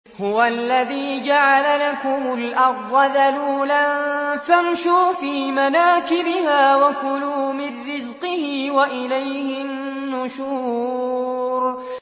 هُوَ الَّذِي جَعَلَ لَكُمُ الْأَرْضَ ذَلُولًا فَامْشُوا فِي مَنَاكِبِهَا وَكُلُوا مِن رِّزْقِهِ ۖ وَإِلَيْهِ النُّشُورُ